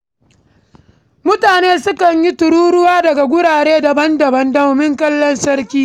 Mutane sukan yi tururuwa daga wurare daban-daban, domin kallon sarki.